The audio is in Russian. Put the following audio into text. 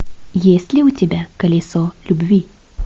есть ли у тебя колесо любви